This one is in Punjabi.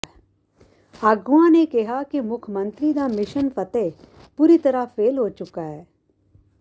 ਆਗੂਆਂ ਨੇ ਕਿਹਾ ਕਿ ਮੁੱਖ ਮੰਤਰੀ ਦਾ ਮਿਸ਼ਨ ਫ਼ਤਿਹ ਪੂਰੀ ਤਰ੍ਹਾਂ ਫੇਲ੍ਹ ਹੋ ਚੁੱਕਾ ਹੈ